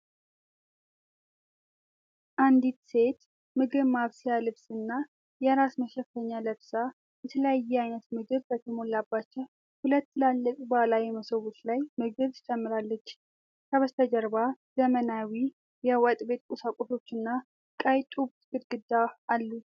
አንዲት ሴት ምግብ ማብሰያ ልብስና የራስ መሸፈኛ ለብሳ፣ የተለያየ ዓይነት ምግብ በተሞላባቸው ሁለት ትልልቅ ባህላዊ መሶቦች ላይ ምግብ ትጨምራለች። ከበስተጀርባ ዘመናዊ የወጥ ቤት ቁሳቁሶችና ቀይ ጡብ ግድግዳ አሉ።